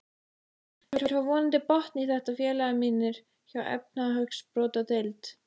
Þeir fá vonandi botn í þetta félagar mínir hjá efnahagsbrotadeild.